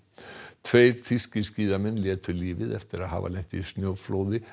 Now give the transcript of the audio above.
tveir þýskir skíðamenn létu lífið eftir að hafa lent í snjóflóði